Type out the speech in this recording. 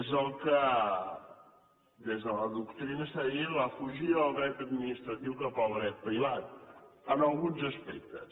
és el que des de la doctrina se n’ha dit la fugida del dret administratiu cap al dret privat en alguns aspectes